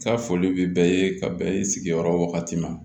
Ka foli bɛ bɛɛ ye ka bɛn i sigiyɔrɔ ma